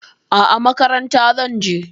A'a, makaranta zan je.